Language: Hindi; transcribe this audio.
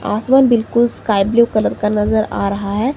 आसमान बिल्कुल स्काई ब्लू कलर का नजर आ रहा है।